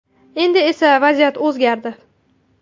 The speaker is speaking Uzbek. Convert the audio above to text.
Endi esa vaziyat o‘zgardi.